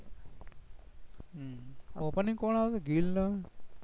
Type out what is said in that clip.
ની કોણ આવે ગિલ ને